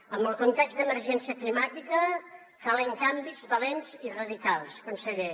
amb el context d’emergència climàtica calen canvis valents i radicals conseller